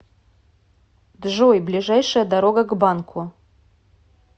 джой ближайшая дорога к банку